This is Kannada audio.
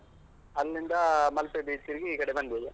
ಅಲ್ಲಿಂದ ಮಲ್ಪೆ beach ತಿರ್ಗಿ, ಈ ಕಡೆ ಬಂದೆವು.